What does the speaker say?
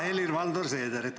Hea Helir-Valdor Seeder!